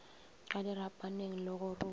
ka dirapaneng le go rua